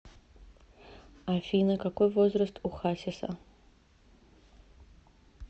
афина какой возраст у хасиса